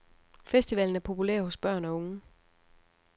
Festivalen er populær hos børn og unge.